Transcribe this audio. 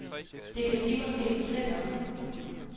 Det kan de måske fortælle mig.